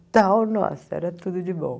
Então, nossa, era tudo de bom.